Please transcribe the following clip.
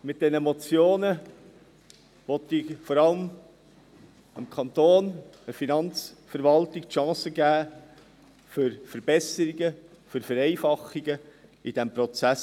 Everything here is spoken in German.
Mit diesen Motionen will ich vor allem dem Kanton, der Finanzverwaltung, die Chance geben für Verbesserungen, für Vereinfachungen in diesem Prozess.